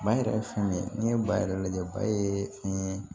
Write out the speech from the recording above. Ba yɛrɛ ye fɛn min ye n'i ye ba yɛrɛ lajɛ ba ye fɛn ye